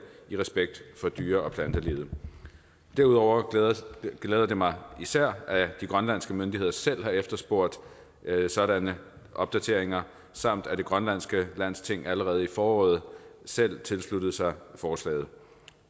i respekt for dyre og plantelivet derudover glæder det mig især at de grønlandske myndigheder selv har efterspurgt sådanne opdateringer samt at det grønlandske landsting allerede i foråret selv tilsluttede sig forslaget